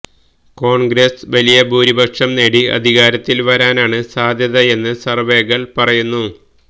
കോൺഗ്രസ് വലിയ ഭൂരിപക്ഷം നേടി അധികാരത്തിൽ വരാനാണ് സാധ്യതയെന്ന് സർവേകൾ പറയുന്നു